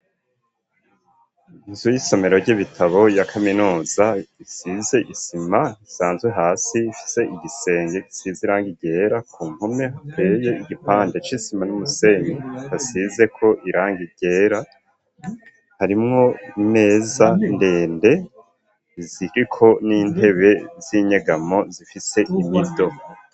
Inzu y'isomero ry'ibitabo ya kaminuza isize isima isanzwe hasi ifise igisenge gisize irangi ryera ku mpome hateye igipande c'isima n'umusenye hasizeko irangi ryera harimwo imeza ndende ziriko n'intebe z'inyegamo zifise imido.